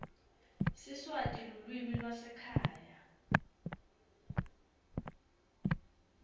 siswati lulwimi lwasekhaya